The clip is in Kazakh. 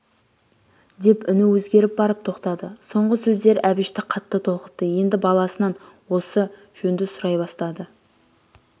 деп үні өзгеріп барып тоқтады соңғы сөздер әбішті қатты толқытты енді баласынан осы жөнді сұрай бастады